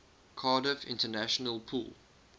cardiff international pool